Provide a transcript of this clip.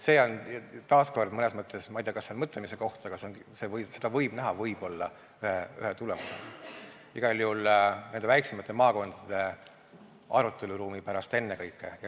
See on taas mõnes mõttes, ma ei tea, kas mõtlemiskoht, aga seda võib näha võib-olla ühe tulemusena igal juhul nende väiksemate maakondade aruteluruumi mõttes ennekõike.